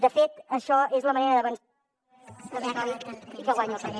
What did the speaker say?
de fet això és la manera d’avançar